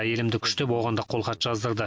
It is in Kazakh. әйелімді күштеп оған да қолхат жаздырды